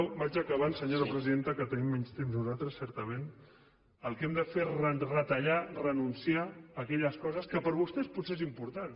vaig acabant senyor presidenta que tenim menys temps nosaltres certament el que hem de fer és retallar renunciar a aquelles coses que per vostès potser són importants